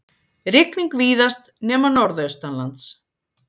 Rigning víðast nema norðaustanlands